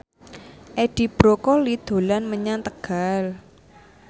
Edi Brokoli dolan menyang Tegal